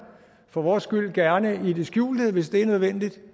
for vores skyld gerne i det skjulte hvis det er nødvendigt